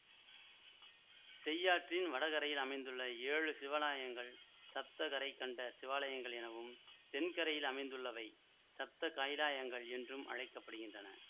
செய்யாற்றின் வடகரையில் அமைந்துள்ள ஏழு சிவாலயங்கள் சப்த கரை கண்ட சிவாலயங்கள் எனவும் தென் கரையில் அமைந்துள்ளவை சப்த கைலாயங்கள் என்றும் அழைக்க படுகின்றன